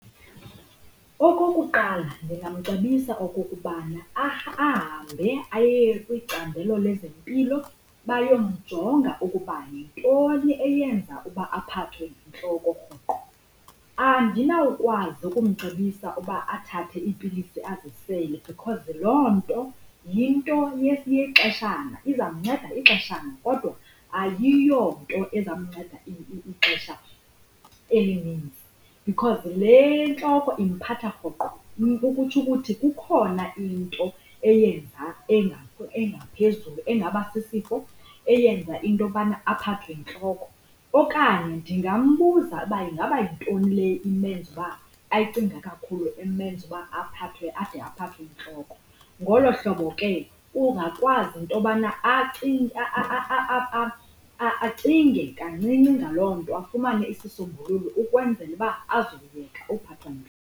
Okokuqala, ndingamcebisa okokubana ahambe aye kwicandelo lwezempilo bayamjonga ukuba yintoni eyenza uba aphathwe yintloko rhoqo. Andinawukwazi ukumcebisa uba athathe iipilisi azisele because loo nto yinto yexeshana izawumnceda ixeshana, kodwa ayiyonto ezamnceda ixesha elininzi, because le ntloko imphatha rhoqo. Kukutsho ukuthi kukhona into eyenza engaphezulu engaba sisifo, eyenza into yobana aphathwe yintloko. Okanye ndingambuza ukuba ingaba yintoni le imenza uba, ayicingayo kakhulu emenza uba ade aphathwe yintloko. Ngolo hlobo ke uzawukwazi into yobana acinge kancinci ngalo nto afumane isisombululo ukwenzela uba azokuyeka ukuphathwa .